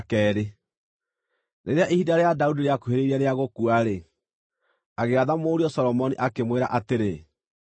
Rĩrĩa ihinda rĩa Daudi rĩakuhĩrĩirie rĩa gũkua-rĩ, agĩatha mũriũ Solomoni, akĩmwĩra atĩrĩ,